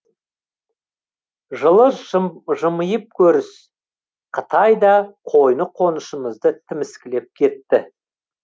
жылы жымиып көріс қытай да қойны қоншымызды тіміскілеп кетті